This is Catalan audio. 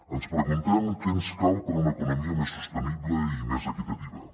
ens preguntem què ens cal per a una economia més sostenible i més equitativa